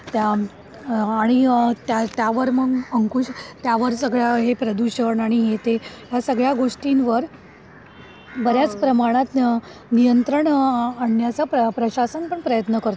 त्या आणि त्यावर मग अंकुश त्यावर सगळ आहे प्रदूषण आणि येते या सगळ्या गोष्टींवर बर्याच प्रमाणात नियंत्रण आणण्याचा प्रशासन पण प्रयत्न करतोय.